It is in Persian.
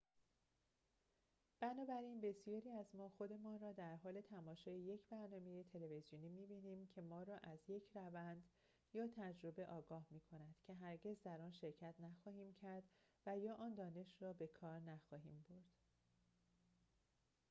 بنابراین بسیاری از ما خودمان را در حال تماشای یک برنامه تلویزیونی می‌بینیم که ما را از یک روند یا تجربه آگاه می کند که هرگز در آن شرکت نخواهیم کرد و یا آن دانش را به کار نخواهیم برد